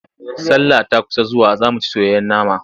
Sallah ta kusa zuwa za mu ci soyayyen nama.